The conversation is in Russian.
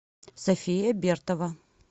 софия бертова